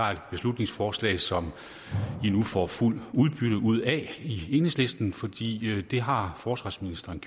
er et beslutningsforslag som i nu får fuldt udbytte ud af i enhedslisten fordi det har forsvarsministeren